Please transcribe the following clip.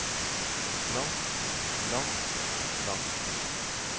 langt langt langt